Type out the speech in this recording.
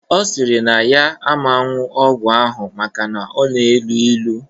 Ọ sịrị na ya aman ṅṅụ ọgwụ ahụ maka na ọ na-elu ilu